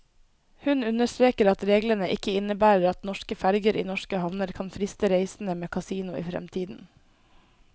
Hun understreker at reglene ikke innebærer at norske ferger i norske havner kan friste reisende med kasino i fremtiden.